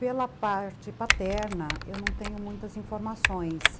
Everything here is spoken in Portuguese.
Pela parte paterna, eu não tenho muitas informações.